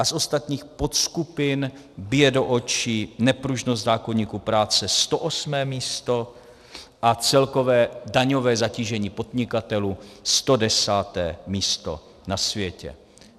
A z ostatních podskupin bije do očí nepružnost zákoníku práce - 108. místo, a celkové daňové zatížení podnikatelů - 110. místo na světě.